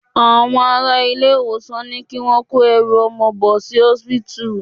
Àwọn ará ilé-ìwòsàn ní kí wọ́n kó ẹrù ọmọ bò sí osipitu.